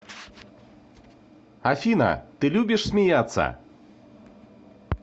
афина ты любишь смеяться